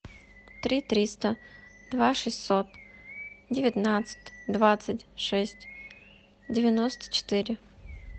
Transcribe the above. три триста два шестьсот девятнадцать двадцать шесть девяносто четыре